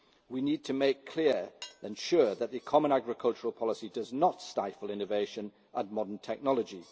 We need to make clear, and ensure, that the common agricultural policy does not stifle innovation and modern technology